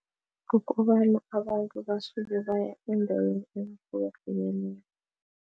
Kukobana abantu basuke baya eendaweni ezihlukahlukeneko.